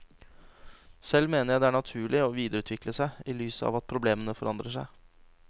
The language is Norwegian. Selv mener jeg det er naturlig å videreutvikle seg i lys av at problemene forandrer seg.